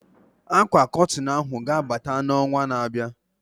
Akwa Kọtịn ahụ ga-abata na onwa na abịa